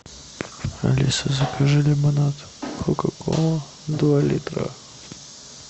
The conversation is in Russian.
алиса закажи лимонад кока кола два литра